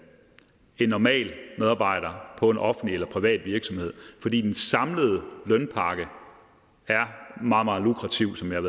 normale medarbejdere på en offentlig eller privat virksomhed fordi den samlede lønpakke er meget meget lukrativ som jeg